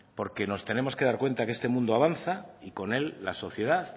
porque nos tenemos que dar cuenta que este mundo avanza y con él la sociedad